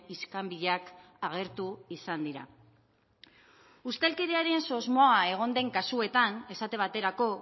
iskanbilak agertu izan dira ustelkeriaren susmoak egon den kasuetan esate baterako